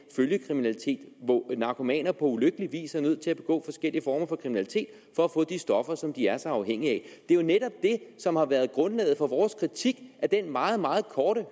følgekriminalitet hvor narkomaner på ulykkelig vis er nødt til at begå forskellige former for kriminalitet for at få de stoffer som de er så afhængige af det er jo netop det som har været grundlaget for vores kritik af den meget meget korte